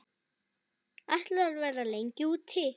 Ætlarðu að vera lengi úti?